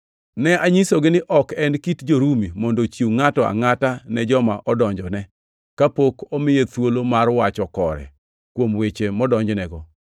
“Ne anyisogi ni ok en kit jo-Rumi mondo ochiw ngʼato angʼata ne joma odonjone, kapok omiye thuolo mar wacho kore kuom weche modonjnego.